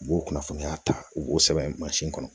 U b'o kunnafoniya ta u b'o sɛbɛn mansin kɔnɔ